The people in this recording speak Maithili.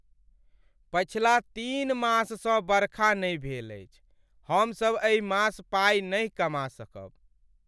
पछिला तीन माससँ बरखा नहि भेल अछि। हमसब एहि मास पाइ नहि कमा सकब।